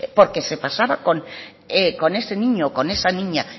porque se pasaba con ese niño o con esa niña